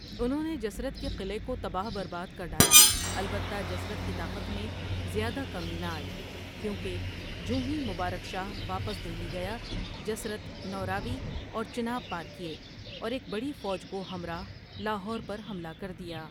انہوں نے جسرت کے قلعے کو تباہ برباد کر ڈالا البتہ جسرت کی طاقت میں زیادہ کمی نہ آئی، کیونکہ جونہی مبارک شاہ واپس دہلی گیا جسرت نو راوی اور چناب پار کئیے اور ایک بڑی فوج کو ہمراہ لاہور پر حملہ کر دیا ۔